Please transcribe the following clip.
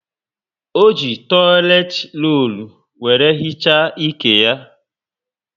ọ jị toileti rollu were hichaa ike ya